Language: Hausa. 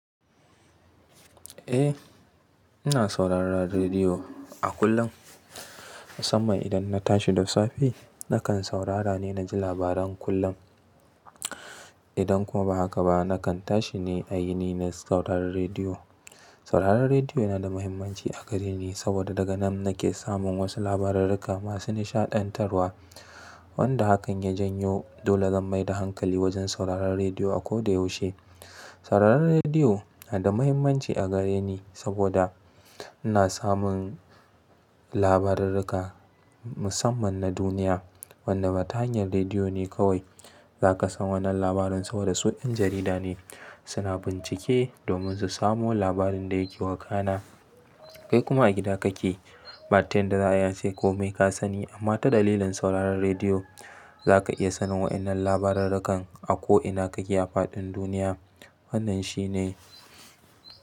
Eh, ina sauraron rediyo a kullum. Musamman idan na tashi da safe, nakan saurara ne na ji labaran kullum. Idan kuma ba haka ba, nakan tashi ne a yini na sauraron rediyo. Sauraron rediyo yana da mahimmanci a gare ni saboda daga nan nake samun wasu labarurruka masu nishaɗantarwa wanda hakan ya janyo dole zan maida hankali wajen sauraron rediyo a ko da yaushe. Sauraron rediyo yana da mahimmanci a gare ni saboda ina samun labarurruka musamman na duniya wanda ba ta hanyar rediyo ne kawai. Za ka san wannan labarin saboda suɗin jarida ne suna bincike domin su samo labarin da yake wakana. Kai kuma a gida kake, bata yanda za a yi ace kome ka sani amma ta dalilin sauraron rediyo za ka iya sanin waɗannan labarurrukan a ko ina kake a faɗin duniya. Wannan shi ne.